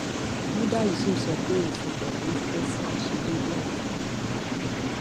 muda yusuf sọ pé òfin buhari kún fún àìṣedéédé àti ìgbónára